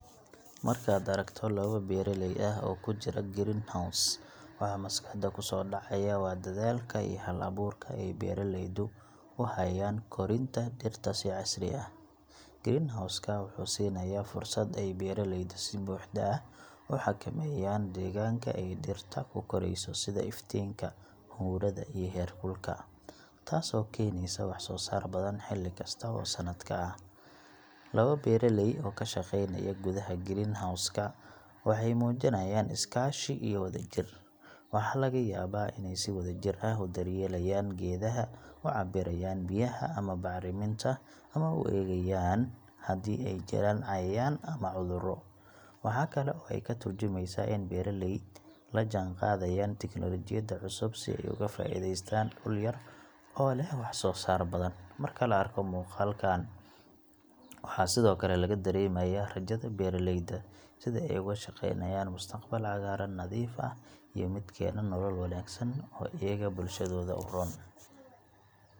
Markaad aragto laba beeraley ah oo ku jira greenhouse, waxa maskaxda ku soo dhacaya waa dadaalka iyo hal-abuurka ay beeraleydu u hayaan korinta dhirta si casri ah. Greenhouse ka wuxuu siinayaa fursad ay beeraleydu si buuxda u xakameeyaan deegaanka ay dhirtu ku korayso sida iftiinka, huurada, iyo heerkulka taasoo keenaysa wax-soo-saar badan, xilli kasta oo sanadka ah. Laba beeraley oo ka shaqaynaya gudaha greenhouse ka waxay muujinayaan iskaashi iyo wadajir. Waxaa laga yaabaa inay si wadajir ah u daryeelayaan geedaha, u cabbirayaan biyaha ama bacriminta, ama u eegayaan haddii ay jiraan cayayaan ama cudurro. Waxa kale oo ay ka tarjumaysaa in beeraleyda la jaan qaadayaan tiknoolajiyadda cusub si ay uga faa’iidaystaan dhul yar oo leh wax-soo-saar badan. Marka la arko muuqaalkaas, waxaa sidoo kale laga dareemayaa rajada beeraleyda – sida ay uga shaqaynayaan mustaqbal cagaaran, nadiif ah, iyo mid keena nolol wanaagsan oo iyaga iyo bulshadooda u roon.